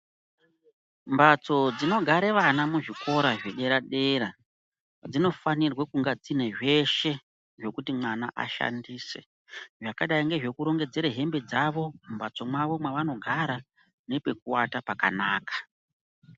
Mbatso dzinogara vana muzvikora zvedera dera dzinofanirwa kunge dzine zveshe dzekuti vana vashandise zvakaita nezvekurongedzera hembe mumbatso mavo mavanogara nepekuata pakanaka.